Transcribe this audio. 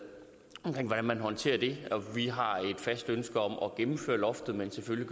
om hvordan man håndterer det og vi har et fast ønske om at gennemføre loftet men selvfølgelig